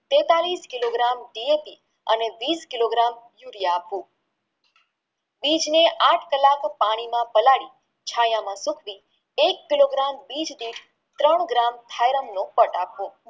તેતાલીશ kilo gram ધીયાંતિ અને વિષ કિલો gram યુરિયા યુરિયા આપવું બીજને આઠ કલાક પાણીમાં પલાળી છાયા માં સુકવી એક કિલો ગ્રામ બીજની ત્રણ ગ્રામ થાયરાન મફત આપવો